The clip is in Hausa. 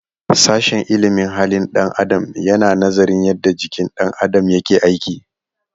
Sashen ilimin halin ɗan adam yana nazarin yadda jikin ɗan adam yake aiki.